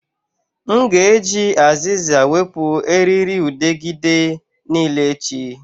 M ga-eji azịza wepụ erịrịudegịde niile echi